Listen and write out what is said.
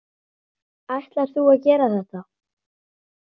Ætlarðu að gera þetta?